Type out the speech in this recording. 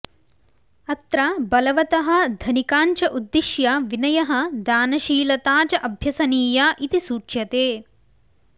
अत्र बलवतः धनिकाञ्च उद्दिश्य विनयः दानशीलता च अभ्यसनीया इति सूच्यते